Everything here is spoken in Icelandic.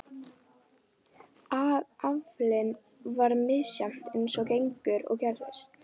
Aflinn var misjafn eins og gengur og gerist.